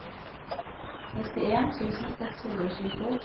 nittien tusen seks hundre og tjueto